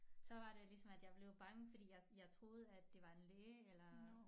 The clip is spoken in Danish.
Så var det ligesom at jeg blev bange fordi jeg jeg troede at det var en læge eller